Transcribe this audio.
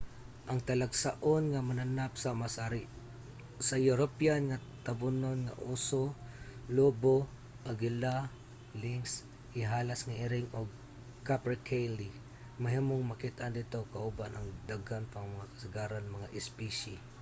ang talagsaon nga mananap sama sa european nga tabonon nga uso lobo agila lynx ihalas nga iring ug capercaille mahimong makit-an didto kauban ang daghan pa nga kasagarang mga espisye